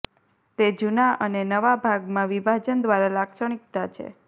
તે જૂના અને નવા ભાગમાં વિભાજન દ્વારા લાક્ષણિકતા છે